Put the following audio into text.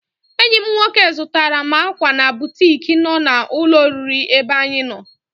Enyi m nwoke zụtara m ákwà na butik nọ na ụlọ oriri ebe anyị nọ.